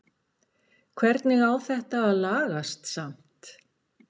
Hvernig á þetta að lagast samt??